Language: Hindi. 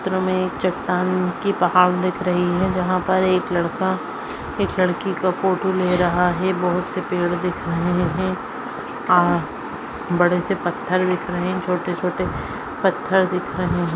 चित्र मे चट्टान की पहाड दिख रही है जहा पर एक लड़का एक लड़की का फोटो ले रहा है बहुत से पेड़ दिखाई दे रहे है आ बड़े से पत्थर दिखाई दे रहे है छोटे छोटे पत्थर दिख रहे है।